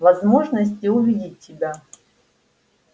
возможности увидеть тебя